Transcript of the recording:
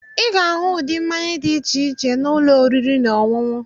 Ị ga-ahụ ụdị mmanya dị iche iche na ụlọ oriri na ọṅụṅụ.